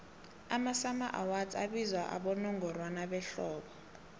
amasummer awards abizwa abowongorwana behlobo